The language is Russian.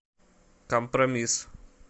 компромисс